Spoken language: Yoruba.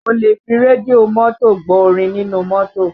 O lè fi rédíò mọ́tò gbọ́ orin nínú mọ́tò